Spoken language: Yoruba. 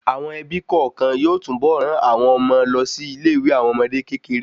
Àwọn ẹbí kọọkan yóò tún bọ ran àwọn ọmọ lọ sí ilé ìwé àwọn ọmọdé kékeré